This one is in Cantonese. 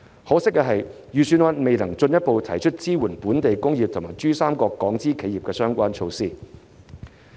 可惜的是，預算案未能進一步提出支援本地工業及珠三角港資企業的相關措施。